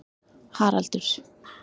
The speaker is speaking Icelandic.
Haraldur